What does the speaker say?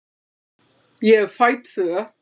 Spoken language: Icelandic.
Ég fæ tvö.